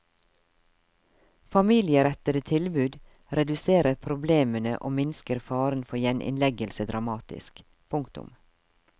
Familierettede tilbud reduserer problemene og minsker faren for gjeninnleggelse dramatisk. punktum